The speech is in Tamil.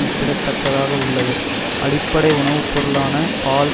ஒப்பிடத்தக்கதாக உள்ளது அடிப்படை உணவு பொருளான பால்